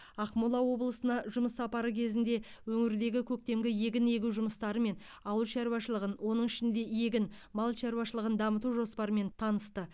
ақмола облысына жұмыс сапары кезінде өңірдегі көктемгі егін егу жұмыстарымен ауыл шаруашылығын оның ішінде егін мал шаруашылығын дамыту жоспарымен танысты